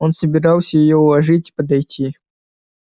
он собирался её уложить подойти